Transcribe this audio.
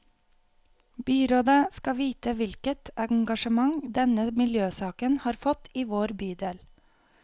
Byrådet skal vite hvilket engasjement denne miljøsaken har fått i vår bydel.